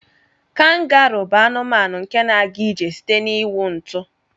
Kangaruu bu anụmanụ nke na aga ijr site n'iwụ ntu.